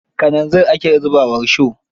Kananzir ake zuba wa risho.